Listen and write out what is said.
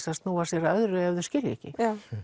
að snúa sér að öðru ef þau skilja ekki